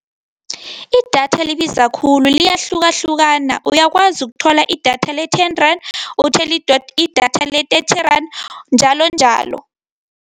Idatha libiza khulu, liyahlukahlukana. Uyakwazi ukuthola idatha le-ten rand, uthole idatha le-thirty rand njalonjalo.